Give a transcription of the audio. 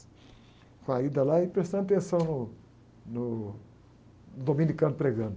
Com a ida lá e prestando atenção no, no, no dominicano pregando.